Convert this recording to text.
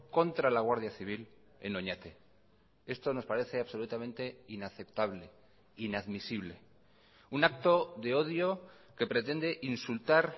contra la guardia civil en oñate esto nos parece absolutamente inaceptable inadmisible un acto de odio que pretende insultar